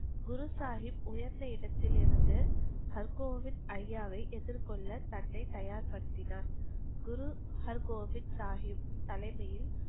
குரு சாகிப் உயர்ந்த இடத்தில் இருந்து ஹர் கோவிந்த் ஐயாவை எதிர் கொல்ல தன்னை தயார் படுத்தினார். குரு ஹர் கோவிந்த் சாகிப் தலைமையில்,